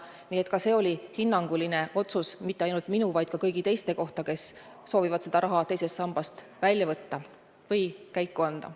Nii et see oli hinnang mitte ainult minu, vaid ka kõigi teiste kohta, kes soovivad selle raha teisest sambast välja võtta ja käiku anda.